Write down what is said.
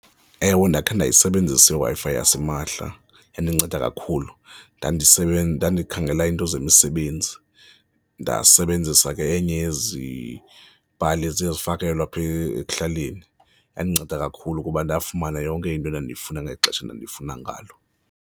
Ewe, ndakhe ndayisebenzisa iWi-Fi yasimahla yandinceda kakhulu, ndikhangela iinto zemisebenzi, ndasebenzisa ke enye yezi pali eziye zifakelwe apha ekuhlaleni. Yandinceda kakhulu kuba ndafumana yonke into edandiyifuna ngexesha endandiyifuna ngalo.